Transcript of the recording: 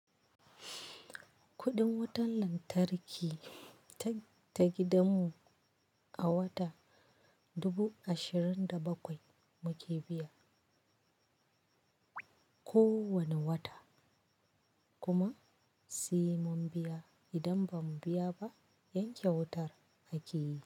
Kuɗin wutan lantarki ta, ta gidanmu, a wata, dubu ashirin da bakwai muke biya, kowane wata. Kuma, simun biya, idan ba mu biya ba, yanke wutar akeyi.